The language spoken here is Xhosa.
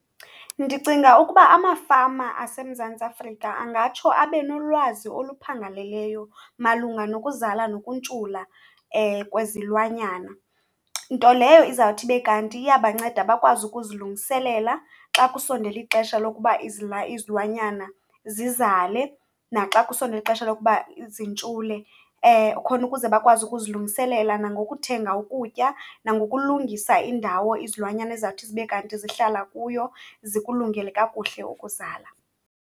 Ndicinga ukuba amafama aseMzantsi Afrika angatsho abe nolwazi oluphangaleleyo malunga nokuzala nokuntshula kwezilwanyana. Nto leyo izawuthi ibe kanti iyabanceda bakwazi ukuzilungiselela xa kusondele ixesha lokuba izilwanyana zizale naxa kusondele ixesha lokuba zintshule, khona ukuze bakwazi ukuzilungiselela nangokuthenga ukutya nangokulungisa indawo izilwanyana ezizawuthi zibe kanti zihlala kuyo zikulungele kakuhle ukuzala.